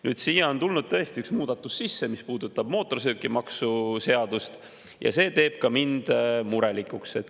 Nüüd siia on tulnud tõesti üks muudatus sisse, mis puudutab mootorsõidukimaksu seadust, ja see teeb ka mind murelikuks.